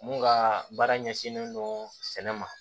Mun ka baara ɲɛsinnen don sɛnɛ ma